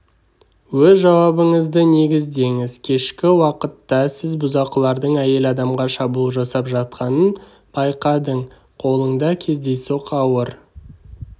өз жауабыңызды негіздеңіз кешкі уақытта сіз бұзақылардың әйел адамға шабуыл жасап жатқанын байқадың қолыңда кездейсоқ ауыр